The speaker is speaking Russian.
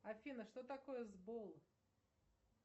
афина что такое сбол